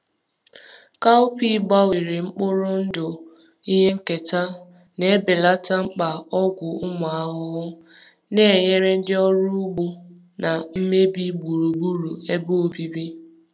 Cowpea gbanwere mkpụrụ ndụ ihe nketa na-ebelata mkpa ọgwụ ụmụ ahụhụ, na-enyere ndị ọrụ ugbo belata ụgwọ ọrụ na mmebi gburugburu ebe obibi.